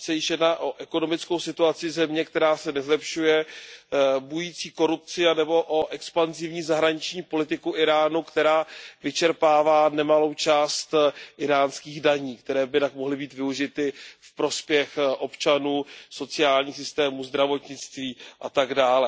Ať se již jedná o ekonomickou situaci země, která se nezlepšuje, bující korupci anebo o expanzivní zahraniční politiku Íránu, která vyčerpává nemalou část íránských daní, které by jinak mohly být využity ve prospěch občanů, sociálních systémů, zdravotnictví atd.